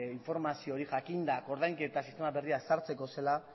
informazio hori jakinda ordainketa sistema berria sartzeko zela